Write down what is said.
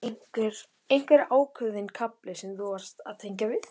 Helga: Einhver ákveðinn kafli sem þú varst að tengja við?